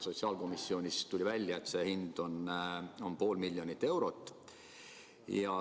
Sotsiaalkomisjonis tuli välja, et see hind on pool miljonit eurot.